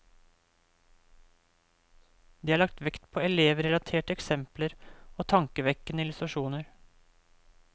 Det er lagt vekt på elevrelaterte eksempler og tankevekkende illustrasjoner.